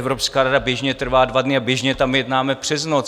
Evropská rada běžně trvá dva dny a běžně tam jednáme přes noc.